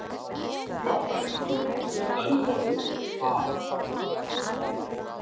Hvaða reglur gilda um orðið „að“ ?